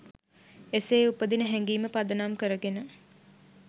එසේ උපදින හැඟීම පදනම් කරගෙන